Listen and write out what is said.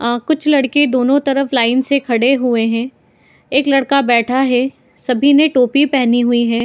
आ कुछ लड़के दोनों तरफ लाइन लगा से खड़े हुए है एक लड़का बैठा है सभी ने टॉपी पहनी हुई है ।